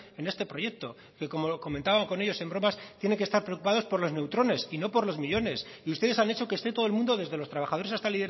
en este proyecto que como comentaba con ellos en bromas tienen que estar preocupados por los neutrones y no por los millónes y ustedes han hecho que esté todo el mundo desde los trabajadores hasta